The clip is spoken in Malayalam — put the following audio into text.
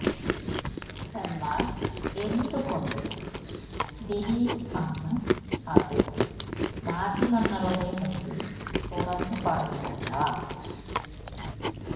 എന്നാല് എന്ത് കൊണ്ട് ദിലീപ് അന്ന് അത് മാധ്യമങ്ങളുടെ മുമ്പില് തുറന്ന് പറഞ്ഞില്ല